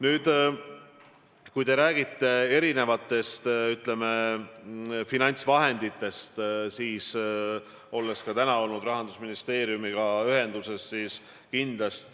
Nüüd, kui te räägite erinevatest finantsvahenditest, siis ma olin ka täna Rahandusministeeriumiga ühenduses.